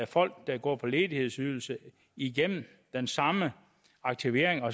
folk der går på ledighedsydelse igennem den samme aktivering og